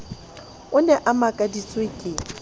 o ne a makaditswe ke